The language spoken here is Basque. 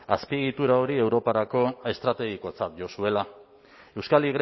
azpiegitura hori europarako estrategikotzat jo zuela euskal